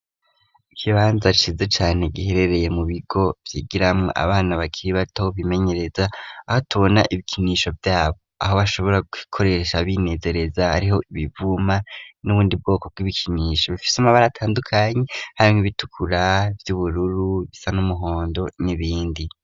Ikibanza cize cane giherereye mu bigo vyigiramwo abana bakiri batobimenyereza aho tubona ibikinisho vyabo aho bashobora gikoresha abinezereza ariho ibivuma n'ubundi bwoko bw'ibikinisho bifise amabara atandukanyi hamwe ibitukura vy'ubururu bisa n'umuhondo n'ibindi.